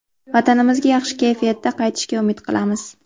Vatanimizga yaxshi kayfiyatda qaytishga umid qilamiz.